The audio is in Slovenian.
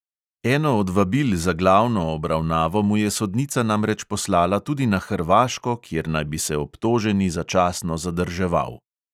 Eno od vabil za glavno obravnavo mu je sodnica namreč poslala tudi na hrvaško, kjer naj bi se obtoženi začasno zadrževal.